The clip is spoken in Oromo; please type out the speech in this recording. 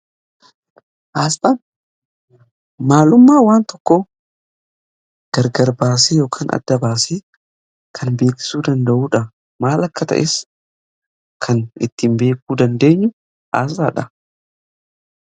Maalummaan waan tokko gargar baasee yookan adda baasee kan beeksisuu danda'uudha. Maal akka ta'es kan ittiin beekuu dandeenyu asxaadha.